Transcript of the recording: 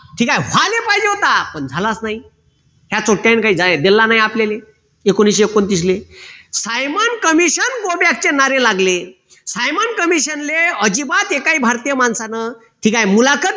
ठीक आहे व्हायला पाहिजे होता पण झालाच नाही या काही जाहीर दिला नाही आपल्याले एकोणविशे एकोणतीसले सायमन कमिशन गो बॅक चे नारे लागले सायमन कमिशन ले अजिबात एकाही भारतीय माणसानं ठीक आहे मुलाखत